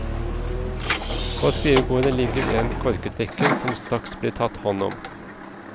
På skrivebordet ligger en korketrekker som straks blir tatt hånd om.